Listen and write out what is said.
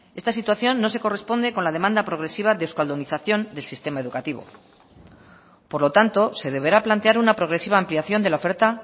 esta situación no se corresponde con la demanda progresiva de euskaldunización del sistema educativo por lo tanto se deberá plantear una progresiva ampliación de la oferta